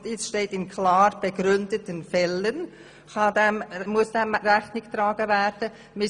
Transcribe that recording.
In Absatz 2 steht dann, dass gewichtigen persönlichen Umständen «in klar begründeten Fällen […] Rechnung zu tragen ist.